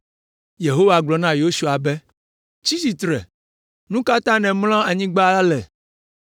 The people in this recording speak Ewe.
Yehowa gblɔ na Yosua be, “Tsi tsitre! Nu ka ta nèmlɔ anyigba ale?